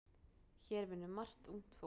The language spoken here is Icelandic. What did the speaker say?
Hér vinnur margt ungt fólk.